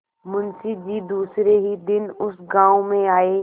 मुँशी जी दूसरे ही दिन उस गॉँव में आये